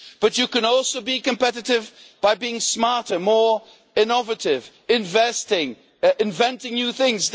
You can also be competitive by being smarter, more innovative, investing, inventing new things.